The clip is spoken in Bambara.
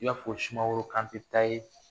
I y'a fɔ sumaworo Kante ta ye